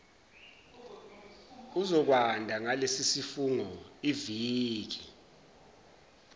uzokwanda ngalesisifungo iviki